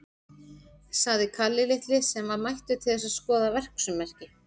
sagði Kalli litli, sem var mættur til þess að skoða verksummerki.